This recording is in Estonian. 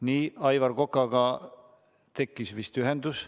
Nii, Aivar Kokaga tekkis vist ühendus.